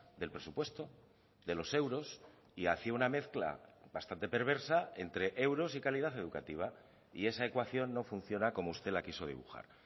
del presupuesto de los euros y hacía una mezcla bastante perversa entre euros y calidad educativa y esa ecuación no funciona como usted la quiso dibujar